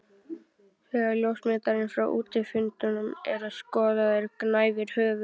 Þegar ljósmyndir frá útifundum eru skoðaðar gnæfir höfuð